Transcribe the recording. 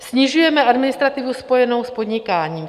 Snižujeme administrativu spojenou s podnikáním.